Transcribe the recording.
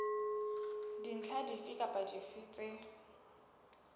dintlha dife kapa dife tse